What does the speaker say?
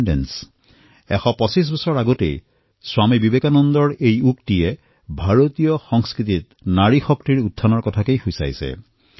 ডেৰশ বছৰ পূৰ্বে কোৱা স্বামীজীৰ এই উক্তি ভাৰতীয় সংস্কৃতিত নাৰী শক্তিৰ বিষয়ে কৰা চিন্তাক প্ৰতিফলিত কৰে